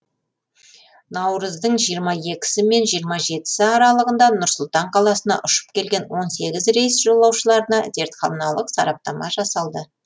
наурыздың жиырма екісі мен жиырма жетісі аралығында нұр сұлтан қаласына ұшып келген он сегіз рейс жолаушыларына зертханалық сараптама жасалды